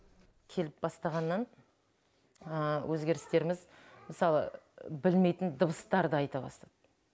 келіп бастағаннан өзгерістеріміз мысалы білмейтін дыбыстарды айта бастады